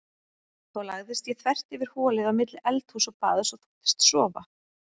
Þá lagðist ég þvert yfir holið á milli eldhúss og baðs og þóttist sofa.